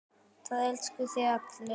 Það elskuðu þig allir.